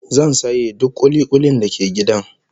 Zan saye duk kuli-kulin da ke gidan